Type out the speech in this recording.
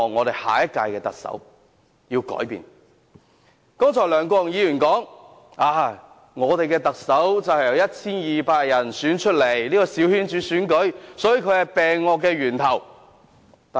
梁國雄議員剛才說，我們的特首是由 1,200 人選出來。這個小圈子選舉是萬惡的源頭。